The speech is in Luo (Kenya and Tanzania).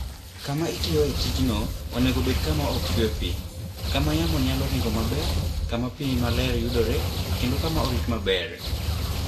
Kama itiyoe tijno onego obed kama ok chue pi, kama yamo nyalo ringo maber, kama pi maler yudoree, kendo kama orit maber.